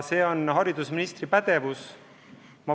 See on haridusministri pädevus.